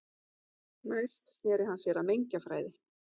Næst sneri hann sér að mengjafræði.